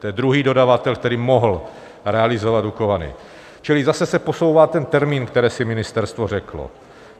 To je druhý dodavatel, který mohl realizovat Dukovany, čili zase se posouvá ten termín, který si ministerstvo řeklo.